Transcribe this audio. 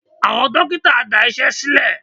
Àwọn dókítà dá Iṣẹ́ sílè.